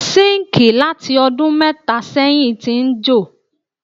Síńkì láti ọdún mẹ́tà sẹ́yìn ti ń jò.